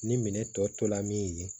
Ni minɛ tɔ tora min ye